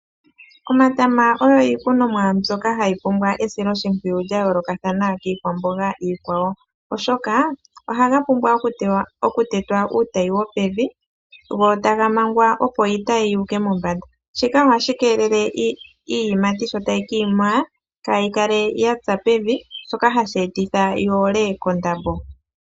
Omatama ogo iikunomwa mbyoka hayi pumbwa esiloshimpwiyu lya yooloka kiikwamboga iikwawo oshoka ohaga pumbwa okutetwa uutayi wopevi go taga mangwa opo iitayi yu uke mombanda. Shika ohashi keelele iiyimati sho tayi ka ima kaayikale ya tsa pevi shoka hashi etitha yi ole kondambo.